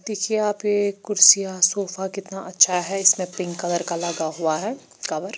दिखिए यहा पे कुर्सिय सोफा कितना अच्छा हैं इसमें पिंक कलर का लगा हुआ है कवर।